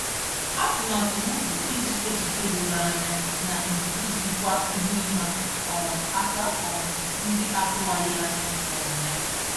Atụmatụ m bụ iji echiche doro anya na ndidi jikwaa ihe ịma um aka um ndị atụwaghị anya um ya.